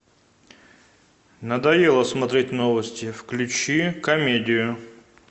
надоело смотреть новости включи комедию